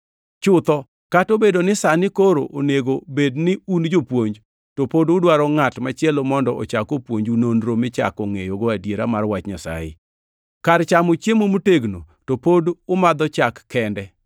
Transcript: Chutho, kata obedo ni sani koro onego bed ni un jopuonj, to pod udwaro ngʼat machielo mondo ochak opuonju nonro michako ngʼeyogo adiera mar wach Nyasaye. Kar chamo chiemo motegno to pod umadho chak kende!